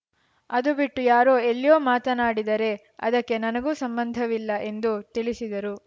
ಅದು ಬಿಟ್ಟು ಯಾರೋ ಎಲ್ಲಿಯೋ ಮಾತಾಡಿದರೆ ಅದಕ್ಕೂ ನನಗೂ ಸಂಬಂಧವಿಲ್ಲ ಎಂದು ತಿಳಿಸಿದರು